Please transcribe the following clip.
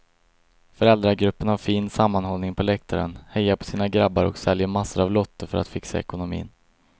Föräldragruppen har fin sammanhållning på läktaren, hejar på sina grabbar och säljer massor av lotter för att fixa ekonomin.